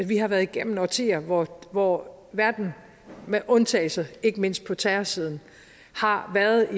vi har været igennem årtier hvor hvor verden med undtagelser ikke mindst på terrorsiden har været